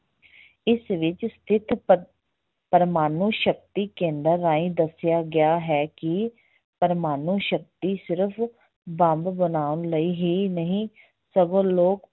ਇਸ ਵਿੱਚ ਸਥਿਤ ਪ~ ਪ੍ਰਮਾਣੂ ਸ਼ਕਤੀ ਕੇਂਦਰ ਰਾਹੀਂ ਦੱਸਿਆ ਗਿਆ ਹੈ ਕਿ ਪ੍ਰਮਾਣੂ ਸ਼ਕਤੀ ਸਿਰਫ ਬੰਬ ਬਣਾਉਣ ਲਈ ਹੀ ਨਹੀਂ ਸਗੋਂ ਲੋਕ